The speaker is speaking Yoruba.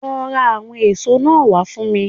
Lọ ra àwọn èso náà wá fún mi